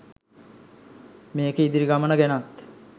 මේකේ ඉදිරි ගමන ගැනත්